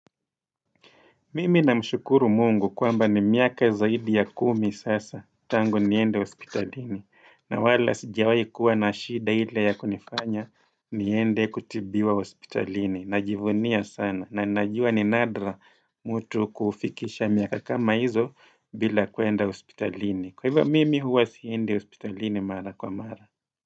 Mimi namshukuru mungu kwamba ni miaka zaidi ya kumi sasa tangu niende hospitalini na wala sijawai kuwa na shida ile ya kunifanya niende kutibiwa hospitalini na jivunia sana na najua ni nadra mtu kufikisha miaka kama hizo bila kuenda hospitalini kwa hivyo mimi huwa siende hospitalini mara kwa mara.